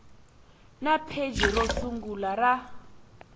na pheji ro sungula ra